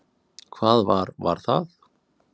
Hvað var var það?